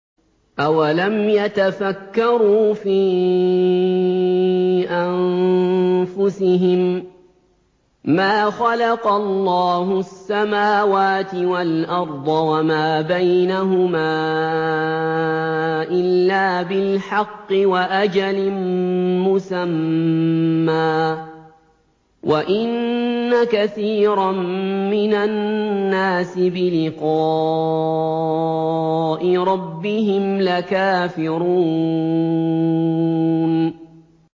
أَوَلَمْ يَتَفَكَّرُوا فِي أَنفُسِهِم ۗ مَّا خَلَقَ اللَّهُ السَّمَاوَاتِ وَالْأَرْضَ وَمَا بَيْنَهُمَا إِلَّا بِالْحَقِّ وَأَجَلٍ مُّسَمًّى ۗ وَإِنَّ كَثِيرًا مِّنَ النَّاسِ بِلِقَاءِ رَبِّهِمْ لَكَافِرُونَ